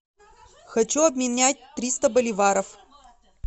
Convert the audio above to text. хочу обменять триста боливаров